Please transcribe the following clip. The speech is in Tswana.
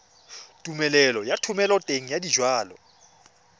tumelelo ya thomeloteng ya dijalo